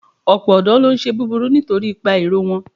Ọ̀pọ̀ ọ̀dọ́ ló ń ṣe búburú nítorí ipa ìrọ̀ wọn.